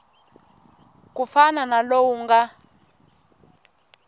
ku fana na lowu nga